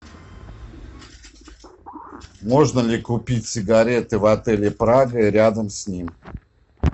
можно ли купить сигареты в отеле прага и рядом с ним